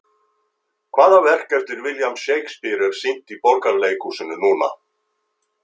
Hvaða verk eftir William Shakespeare er sýnt í Borgarleikhúsinu núna?